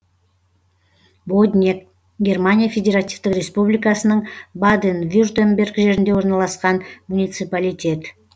боднег германия федеративтік республикасының баден вюртемберг жерінде орналасқан муниципалитет